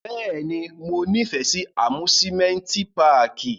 Bẹ́ẹ̀ni, Mo nifẹ si amusimenti pààki.